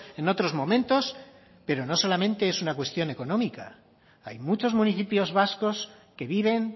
en otros momentos pero no solamente es una cuestión económica hay muchos municipios vascos que viven